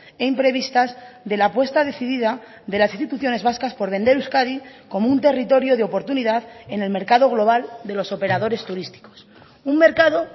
e imprevistas de la apuesta decidida de las instituciones vascas por vender euskadi como un territorio de oportunidad en el mercado global de los operadores turísticos un mercado